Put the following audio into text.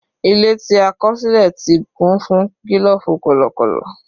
Ilé tí a kọ̀ sílẹ̀ ti kún fún gílòfù kọ̀lọ̀kọ̀lọ̀.